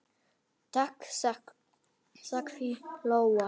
Takk, sagði Lóa.